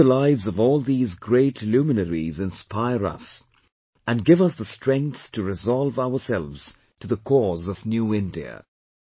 May the lives of all these great luminaries inspire us, and give us the strength to resolve ourselves to the cause of New India